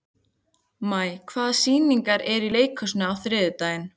Maj, hvaða sýningar eru í leikhúsinu á þriðjudaginn?